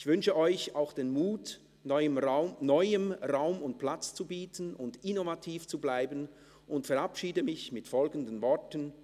ich wünsche euch auch den Mut, Neuem Raum und Platz zu bieten und innovativ zu bleiben und verabschiede mit folgenden Worten: